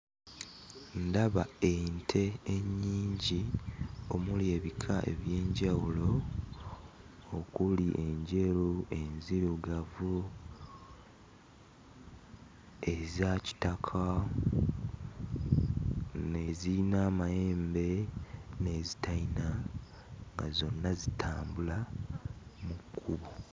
Ndaba ente ennyingi omuli ebika eby'enjawulo okuli enjeru, enzirugavu, eza kitaka, eziyina amayembe n'ezitayina nga zonna zitambula mu kkubo.